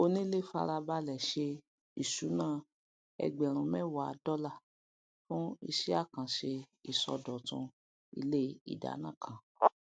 onílẹ fárabalẹ ṣe ìṣúná ẹgbẹrún mẹwa dọlà fún iṣẹ àkànṣe ìṣòdọtun ilé ìdána kan